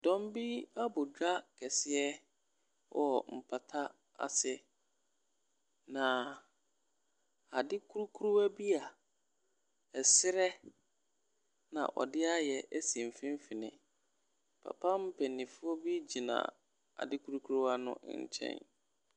Dɔm bi abɔ dwa kɛseɛ wɔ mpata aseɛ, na adeɛ krukruwa bi a srɛ na wɔde a ayɛ si mfimfin. Papa mpanimfoɔ bi gyina ade krukruwa no nkyɛn.